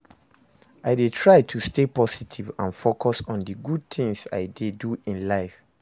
I dey try to stay positive and focus on di good things i dey do in life.